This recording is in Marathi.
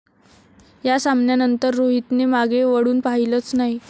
या सामन्यानंतर रोहितने मागे वळून पाहिलंच नाही.